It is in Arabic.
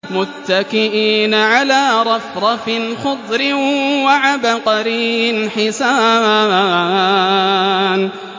مُتَّكِئِينَ عَلَىٰ رَفْرَفٍ خُضْرٍ وَعَبْقَرِيٍّ حِسَانٍ